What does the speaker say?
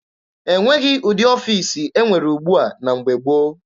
E nweghị ụdị ọfiisi e nwere ugbua na mgbe gboo.